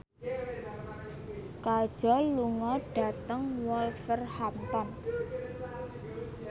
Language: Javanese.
Kajol lunga dhateng Wolverhampton